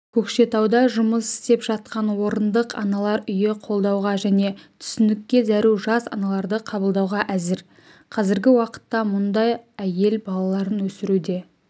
көкшетауда жұмыс істеп жатқан орындық аналар үйі қолдауға және түсіністікке зәру жас аналарды қабылдауға әзір қазіргі уақытта мұнда әйел балаларын өсіруде